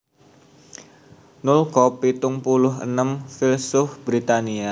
Noel Cobb pitung puluh enem filsuf Britania